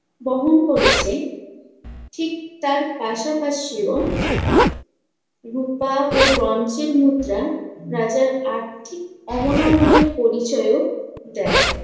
বহন করেছে ঠিক তার পাশাপাশিও রুপা ও bronze এর মুদ্রা রাজার আর্থিক অবনমনের পরিচয়ও দেয়।